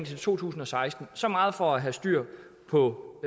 til to tusind og seksten så meget for at have styr på